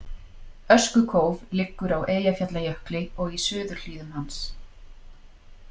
Öskukóf liggur á Eyjafjallajökli og í suðurhlíðum hans.